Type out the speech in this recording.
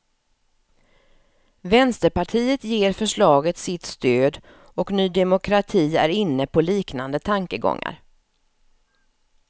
Vänsterpartiet ger förslaget sitt stöd och ny demokrati är inne på liknande tankegångar.